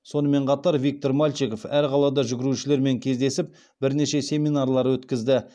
сонымен қатар виктор мальчиков әр қалада жүгірушілермен кездесіп бірнеше семинарлар өткізді